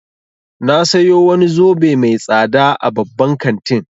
Na sayo wani zobe mai tsada a babban kantin